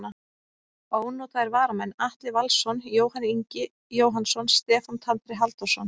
Ónotaðir varamenn: Atli Valsson, Jóhann Ingi Jóhannsson, Stefán Tandri Halldórsson.